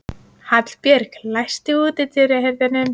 Hallbjörg, læstu útidyrunum.